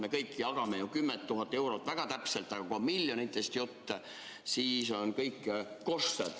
Me kõik jagame ju 10 000 eurot väga täpselt, aga kui on miljonitest jutt, siis on kõik koššer.